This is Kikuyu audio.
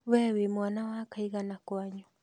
Wee wĩ mwana wa kaigana kwanyu?